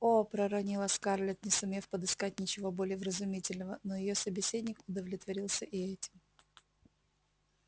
о проронила скарлетт не сумев подыскать ничего более вразумительного но её собеседник удовлетворился и этим